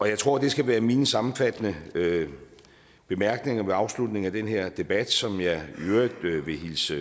jeg tror det skal være mine sammenfattende bemærkninger ved afslutningen af den her debat som jeg i øvrigt vil hilse